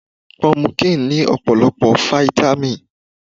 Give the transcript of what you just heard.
Pọmukíǹ ní ọ̀pọ̀lọpọ̀ Fáítámì.